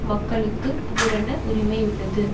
மக்களுக்கு பூரண உரிமையுள்ளது